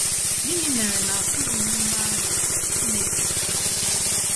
Gịnị mere na a kụzighịrị m aha Chineke na chọọchị? ”